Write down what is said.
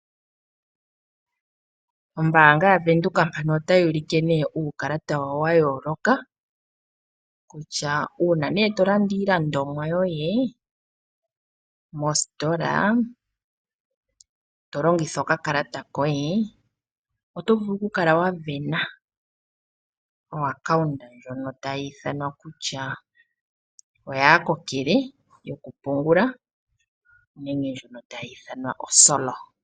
Ombaanga yaVenduka otayi ulike uukalata wayo wa yooloka kutya uuna tolanda iilandomwa yoye mositola tolongitha okakalata koye oto vulu okukala wa sindana epandja ndyono lyaakokele lyokupungula nenge ndjono tayi ithanwa osolo.